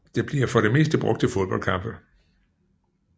Det bliver for det meste brugt til fodboldkampe